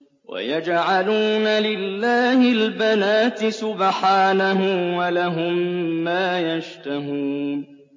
وَيَجْعَلُونَ لِلَّهِ الْبَنَاتِ سُبْحَانَهُ ۙ وَلَهُم مَّا يَشْتَهُونَ